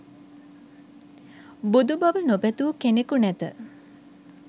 බුදු බව නොපැතු කෙනෙකු නැත.